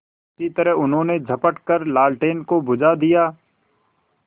उसी तरह उन्होंने झपट कर लालटेन को बुझा दिया